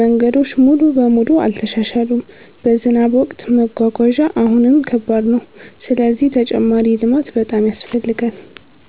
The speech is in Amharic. መንገዶች ሙሉ በሙሉ አልተሻሻሉም፣ በዝናብ ወቅት መጓጓዣ አሁንም ከባድ ነው። ስለዚህ ተጨማሪ ልማት በጣም ያስፈልጋል።